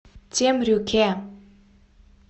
темрюке